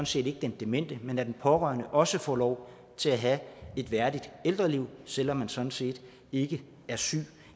set ikke den demente men at den pårørende også får lov til at have et værdigt ældreliv selv om man sådan set ikke er syg